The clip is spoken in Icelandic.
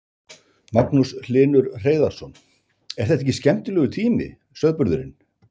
Magnús Hlynur Hreiðarsson: er þetta ekki skemmtilegur tími sauðburðurinn?